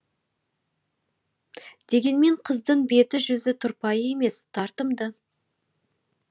дегенмен қыздың беті жүзі тұрпайы емес тартымды